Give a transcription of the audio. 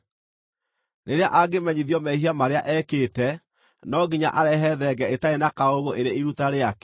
Rĩrĩa angĩmenyithio mehia marĩa ekĩte, no nginya arehe thenge ĩtarĩ na kaũũgũ ĩrĩ iruta rĩake.